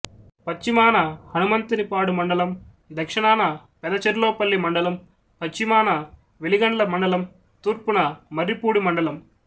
పశ్చిమాన హనుమంతునిపాడుమండలందక్షణాన పెదచెర్లోపల్లి మండలంపశ్చిమాన వెలిగండ్ల మండలంతూర్పున మర్రిపూడి మండలం